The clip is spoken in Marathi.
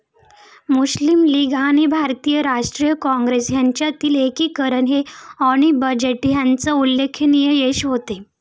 मुस्लीम लीग आणि भारतीय राष्ट्रीय काँग्रेस यांच्यातील एकीकरण हे ॲनी बेझंट यांचे उल्लेखनीय यश होते.